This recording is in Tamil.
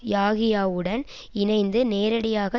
யாஹியாவுடன் இணைந்து நேரடியாக